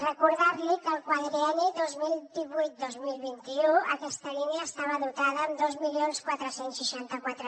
recordar li que al quadrienni dos mil divuit dos mil vint u aquesta línia estava dotada amb dos mil quatre cents i seixanta quatre